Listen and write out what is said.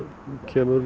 kemur